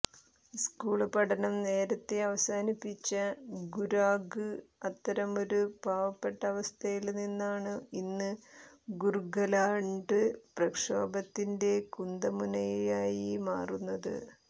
school പഠനം നേരത്തെ അവസാനിപ്പിച്ച ഗുരാംഗ് അത്തരമൊരു പാവപ്പെട്ട അവസ്ഥയില് നിന്നാണ് ഇന്ന് ഗൂര്ഖാലാന്ഡ് പ്രക്ഷോഭത്തിന്റെ കുന്തമുനയായി മാറുന്നത്